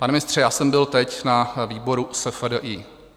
Pane ministře, já jsem byl teď na výboru SFDI.